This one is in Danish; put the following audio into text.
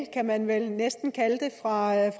kan man vel næsten kalde det meget